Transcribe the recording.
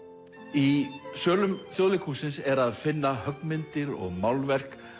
í sölum Þjóðleikhússins er að finna höggmyndir og málverk